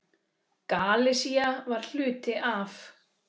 Galisía var hluti af